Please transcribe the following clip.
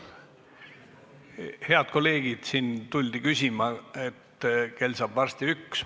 Head kolleegid, siin tuldi ütlema, et kell saab varsti üks.